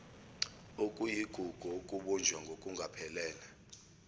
okuyigugu okubunjwe ngokungaphelele